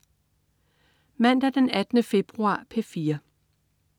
Mandag den 18. februar - P4: